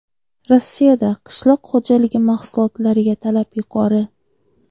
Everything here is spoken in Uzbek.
Rossiyada qishloq xo‘jaligi mahsulotlariga talab yuqori.